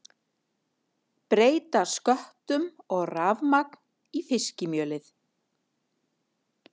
Breyta sköttum og rafmagn í fiskimjölið